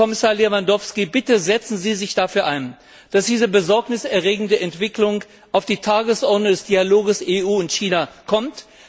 Herr Kommissar Lewandowski, bitte setzen Sie sich dafür ein, dass diese besorgniserregende Entwicklung auf die Tagesordnung des Dialogs EU und China kommt.